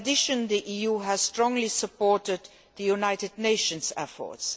In addition, the EU has strongly supported the United Nations efforts.